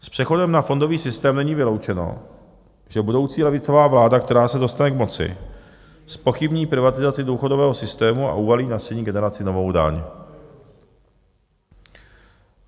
S přechodem na fondový systém není vyloučeno, že budoucí levicová vláda, která se dostane k moci, zpochybní privatizaci důchodového systému a uvalí na střední (?) generaci novou daň.